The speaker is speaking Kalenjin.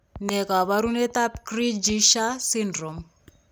Ne kaabarunetap Cri du chat syndrome?